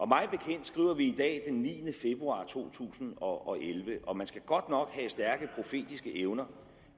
mig bekendt skriver vi i dag den niende februar to tusind og elleve og man skal godt nok have stærke profetiske evner